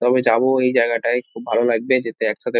কবে যাব ঐ জায়গাটায় খুব ভালো লাগবে। যেতে একসাথে--